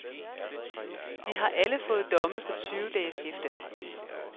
De har alle fået domme på tyve dages hæfte.